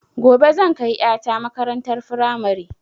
Gobe zan kai ƴa ta makarantar firamare